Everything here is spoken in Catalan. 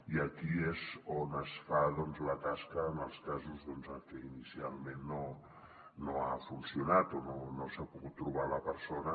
i aquí és on es fa la tasca en els casos en què inicialment no ha funcionat o no s’ha pogut trobar la persona